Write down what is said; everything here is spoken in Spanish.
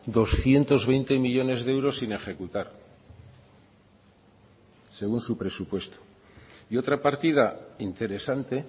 doscientos veinte millónes de euros sin ejecutar según su presupuesto y otra partida interesante